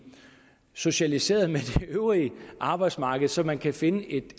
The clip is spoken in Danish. socialiseret med det øvrige arbejdsmarked så man kan finde et